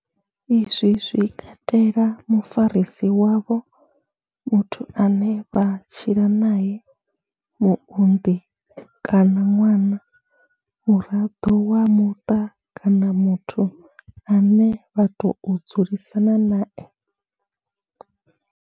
Izwi zwi katela mufarisi wavho, muthu ane vha tshila nae, muunḓi kana ṅwana, muraḓo wa muṱa kana muthu ane vha tou dzulisana nae.